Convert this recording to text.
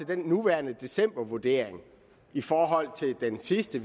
den nuværende decembervurdering i forhold til den sidste